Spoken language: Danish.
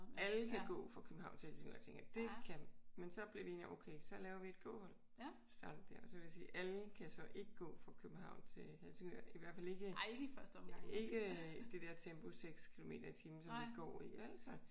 Alle kan gå fra København til Helsingør tænkte jeg. Det kan. Men så blev vi enige om at okay så laver vi et gåhold. Så starter vi der. Og så vil jeg sige alle kan så ikke gå fra København til Helsingør. I hvert fald ikke ikke i det der tempo 6 kilometer i timen som vi går i vel?